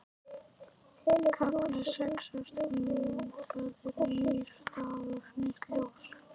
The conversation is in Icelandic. KAFLI SEX Ástin mín, það er nýr dagur, nýtt ljós.